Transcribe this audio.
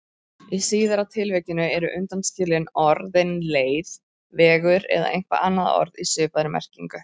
Í síðara tilvikinu eru undanskilin orðin leið, vegur eða eitthvert annað orð í svipaðri merkingu.